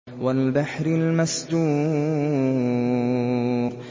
وَالْبَحْرِ الْمَسْجُورِ